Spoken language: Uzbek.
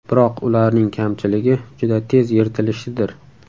Biroq ularning kamchiligi juda tez yirtilishidir.